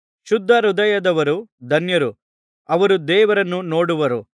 ಶುದ್ಧ ಹೃದಯದವರು ಧನ್ಯರು ಅವರು ದೇವರನ್ನು ನೋಡುವರು